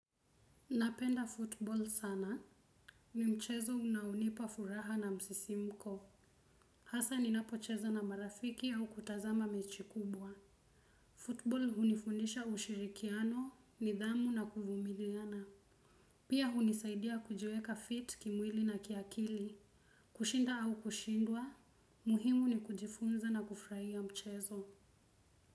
Napenda futbol sana. Ni mchezo unaounipa furaha na msisimko. Hasa ninapocheza na marafiki au kutazama mechi kubwa. Futbol hunifundisha ushirikiano nidhamu na kuvumiliana. Pia hunisaidia kujiweka fit kimwili na kiakili. Kushinda au kushindwa. Muhimu ni kujifunza na kufurahia mchezo.